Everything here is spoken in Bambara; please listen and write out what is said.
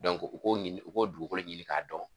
u b'o ɲini, u b'o dugukolo ɲini ka dɔn.